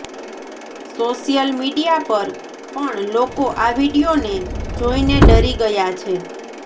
social media પર પણ લોકો આ વીડિયોને જોઇને ડરી ગયા છે